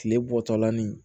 Kile bɔtɔla ni